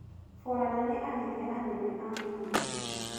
Borana nĩ arĩithia anene a mahiũ.